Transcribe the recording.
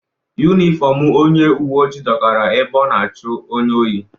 Yunifọmụ onye uweojii dọkara ebe ọ na-achụ onye ohi.